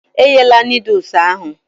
E ghela nodules ahụ